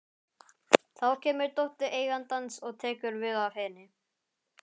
Þá kemur dóttir eigandans og tekur við af henni.